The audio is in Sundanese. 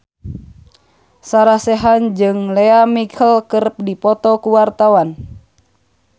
Sarah Sechan jeung Lea Michele keur dipoto ku wartawan